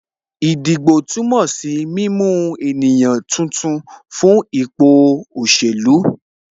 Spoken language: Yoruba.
Ìdìbò túmọ̀ sí mímú ènìyàn tuntun fún ipò òṣèlú